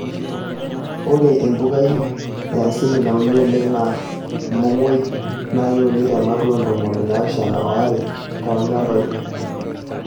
Ore empukai e asili nauni oleng' naa olmomoi aa keuni tematua oo ntomoni naapishana o are lolchambai.